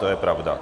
To je pravda.